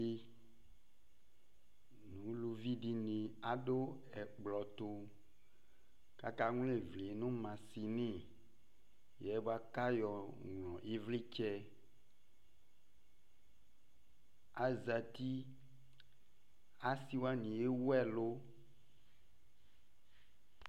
Dɩ nʋ uluvi dɩnɩ adʋ ɛkplɔ tʋ kʋ akaŋlɔ ɩvlɩ nʋ masini yɛ bʋa kʋ ayɔŋlɔ ɩvlɩtsɛ Azati Asɩ wanɩ ewu ɛlʋ